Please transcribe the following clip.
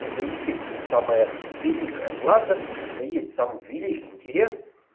это и есть самое великое плато это и есть самым великим интерес